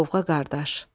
Lovğa qardaş!